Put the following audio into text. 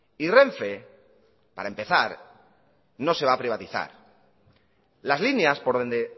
y renfe para empezar no se va a privatizar las líneas por donde